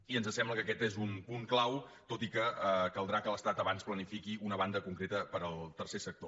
i ens sembla que aquest és un punt clau tot i que caldrà que l’estat abans planifiqui una banda concreta per al tercer sector